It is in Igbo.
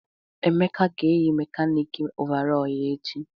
Emeka ga-eyi mekanịkị ọvarọọr ya echi?